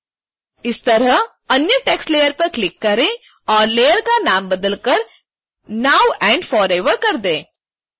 इसी तरह अन्य text layer पर क्लिक करें और layer का नाम बदलकर now and forever कर दें